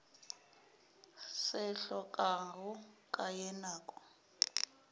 se hlokago ka ye nako